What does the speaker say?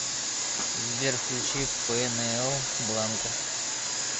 сбер включи пэнээл бланка